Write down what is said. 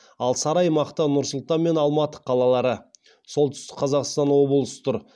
ал сары аймақта нұр сұлтан мен алматы қалалары солтүстік қазақстан облысы тұр